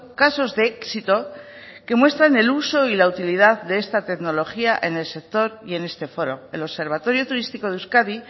casos de éxito que muestran el uso y la utilidad de esta tecnología en el sector y en este foro el observatorio turístico de euskadi